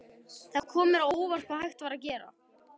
Það kom mér á óvart hvað hægt var að gera.